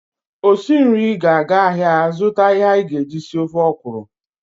Osi nri ga-aga ahịa azụta ihe anyị ji esi ofe ọkwụrụ.